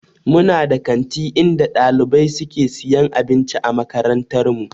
We have a school canteen in our school where students buy food.